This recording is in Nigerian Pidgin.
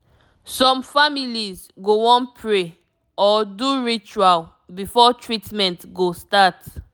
some families go wan pray or do ritual before treatment go start